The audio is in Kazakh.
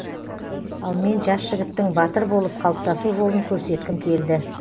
ал мен жас жігіттің батыр болып қалыптасу жолын көрсеткім келді